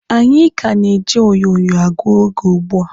Anyị ka na-eji onyonyo agụ oge ugbua.